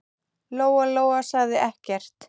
Lóa-Lóa sagði ekkert.